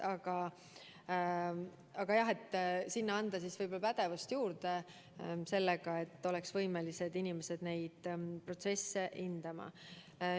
Aga jah, sinna tuleks võib-olla pädevust juurde anda sellega, et seal oleks inimesed, kes on võimelised neid protsesse hindama.